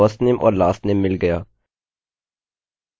अतः हमें हमारा firstname और lastname मिल गया